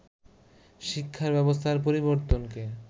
শিক্ষা ব্যবস্থার পরিবর্তনকে